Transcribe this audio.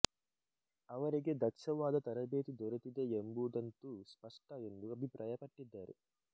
ಅವರಿಗೆ ದಕ್ಷವಾದ ತರಬೇತಿ ದೊರೆತಿದೆ ಎಂಬುದಂತೂ ಸ್ಪಷ್ಟ ಎಂದು ಅಭಿಪ್ರಾಯಪಟ್ಟಿದ್ದಾರೆ